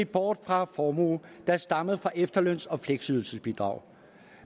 bort fra formue der stammer fra efterløns og fleksydelsesbidrag